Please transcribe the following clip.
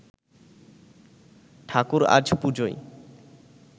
ঠাকুর আজ পুজোয়